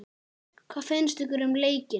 Hvað finnst ykkur um leikinn?